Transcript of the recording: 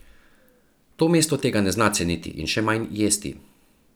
To mesto tega ne zna ceniti in še manj jesti.